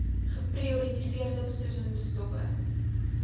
geprioritoriseerde besoedelende stowwe